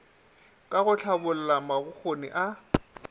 ka go hlabolla mabokgoni a